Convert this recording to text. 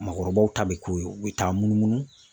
Maakɔrɔbaw ta bɛ k'u ye, u bɛ taa munumunu.